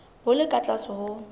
bo le ka tlase ho